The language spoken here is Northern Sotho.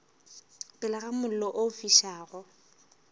pele ga mollo o fišago